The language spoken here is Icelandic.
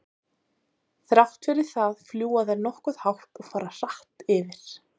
Þrátt fyrir það fljúga þær nokkuð hátt og fara hratt yfir.